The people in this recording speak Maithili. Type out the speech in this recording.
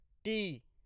टी